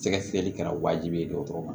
Sɛgɛsɛgɛli kɛra wajibi ye dɔgɔtɔrɔ ma